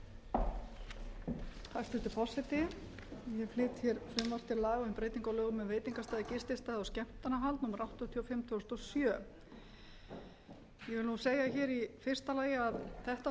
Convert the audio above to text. á lögum um veitingastaði gististaði og skemmtanahald númer áttatíu og fimm tvö þúsund og sjö ég vil segja hér í fyrsta lagi að þetta